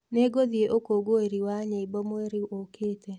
Nĩngũthiĩ ũkũngũĩri wa nyĩmbo mweri ũkĩte.